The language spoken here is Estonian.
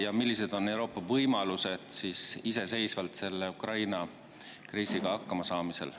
Ja millised on Euroopa võimalused iseseisvalt selle Ukraina kriisiga hakkama saada?